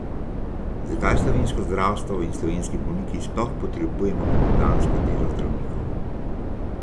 Zakaj slovensko zdravstvo in slovenski bolniki sploh potrebujemo popoldansko delo zdravnikov?